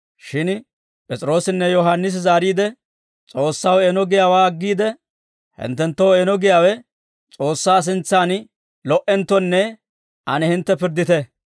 Shin P'es'iroossinne Yohaannisi zaariide, «S'oossaw eeno giyaawaa aggiide, hinttenttoo eeno giyaawe S'oossaa sintsan lo"enttonne ane hintte pirddite.